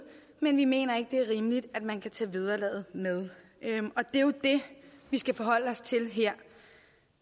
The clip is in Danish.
men vi mener ikke det er rimeligt at man kan tage vederlaget med og det er jo det vi skal forholde os til